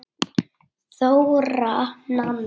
Þóra Nanna.